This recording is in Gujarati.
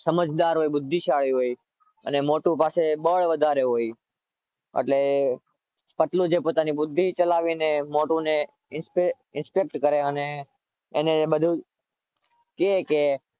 સમજદાર હોય બુદ્ધિશાળી હોય અને મોટું પાસે બળ વધારે હોય એટલે પતલું જે પોતાની બુદ્ધિ ચલાવીને મોટુને instruct અને એને બધુ કે કે